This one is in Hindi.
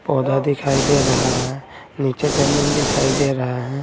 पौधा दिखाई दे रहा है नीचे जमीन दिखाई दे रहा है।